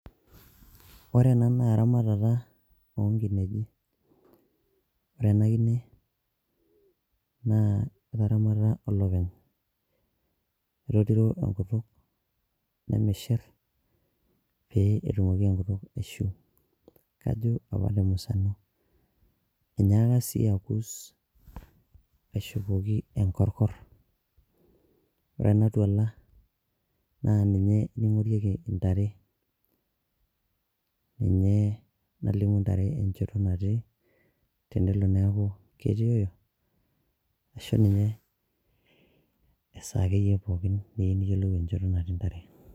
ore ena naa eramatata onkineji ore ena kine naa etaramata olopeny etotiro enkutuk nemishirr pee etumoki enkutuk aishiu kajo apa temusano enyaaka sii akus aishopoki enkorkorr ore ena tuala naa ninye ening'orieki intare ninye nalimu intare enchoto natii tenelo neaku ketioyo ashu ninye esaa akeyie pokin niyieu niyiolou enchoto natii intare.